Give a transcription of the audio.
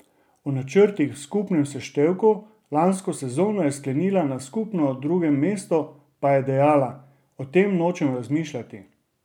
O načrtih v skupnem seštevku, lansko sezono je sklenila na skupno drugem mestu, pa je dejala: "O tem nočem razmišljati.